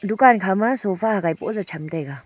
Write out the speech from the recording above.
dukan khama sofa hagai bohjaw cham taiga.